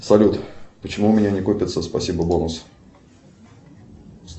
салют почему у меня не копится спасибо бонус